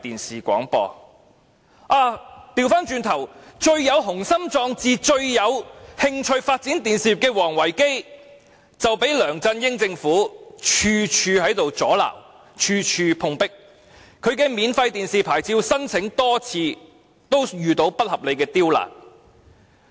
相反，最有雄心壯志及最有興趣發展電視業的王維基卻被梁振英政府處處阻撓，以致處處碰壁，其免費電視廣播牌照申請更多次遇上不合理的刁難。